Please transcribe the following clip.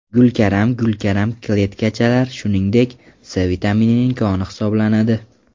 Gulkaram Gulkaram kletchatkalar, shuningdek, C vitaminining koni hisoblanadi.